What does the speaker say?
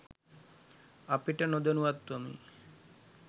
අපිට නොදනුවත්වම්